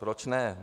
Proč ne?